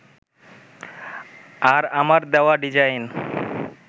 আর আমার দেওয়া ডিজাইন